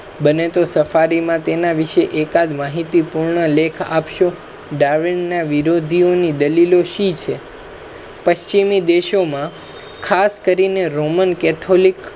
બને તો સફારી મા તેના વિશે એકાદ માહિતીપૂર્ણ લેખ આપશો. darwin ના વિરોધિઓની દલીલો શી છે પશિમિ દેશો માં ખાસ કરીને romancatholic